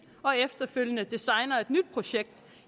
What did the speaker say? og efterfølgende designer et nyt projekt